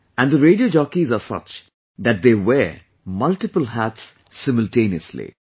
And the radio jockeys are such that they wear multiple hats simultaneously